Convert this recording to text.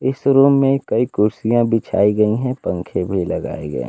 इस रूम में कई कुर्सियां बिछाई गई हैं पंखे भी लगाए गए--